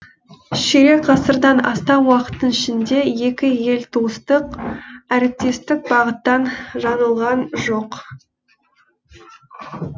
ширек ғасырдан астам уақыттың ішінде екі ел туыстық әріптестік бағыттан жаңылған жоқ